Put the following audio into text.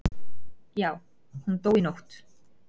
Já, hún dó í nótt